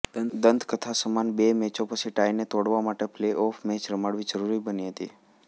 દંતકથા સમાન બે મેચો પછી ટાઇને તોડવા માટે પ્લેઓફ મેચ રમાડવી જરૂરી બની હતી